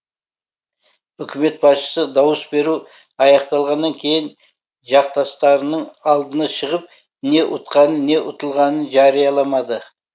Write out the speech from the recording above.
үкімет басшысы дауыс беру аяқталғаннан кейін жақтастарының алдына шығып не ұтқанын не ұтылғанын жариялаламады